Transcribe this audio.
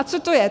A co to je?